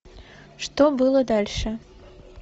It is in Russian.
что было дальше